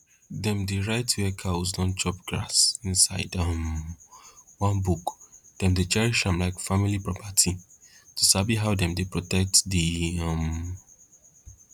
dem dey write where cows don chop grass inside um one book dem dey cherish am like family property to sabi how dem dey protect the um